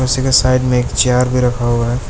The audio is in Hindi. उसी के साइड में एक चेयर भी रखा हुआ है।